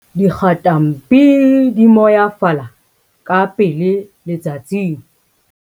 dikgatampi di moyafala ka pele letsatsing